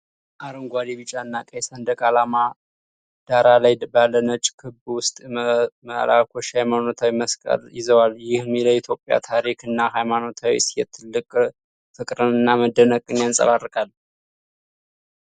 በአረንጓዴ፣ ቢጫና ቀይ ሰንደቅ ዓላማ ዳራ ላይ ባለ ነጭ ክብ ውስጥ መልአኮች የሃይማኖታዊ መስቀል ይዘዋል። ይህም ለኢትዮጵያ ታሪክ እና ሃይማኖታዊ እሴት ትልቅ ፍቅርንና መደነቅን ያንፀባርቃል።